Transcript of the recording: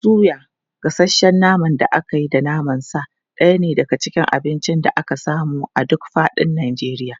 Suya, gasasshen naman da aka yi da naman sa ɗaya ne daga cikin abincin da ake samu a duk faɗin Najeriya.